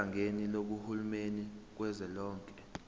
ohlakeni lukahulumeni kazwelonke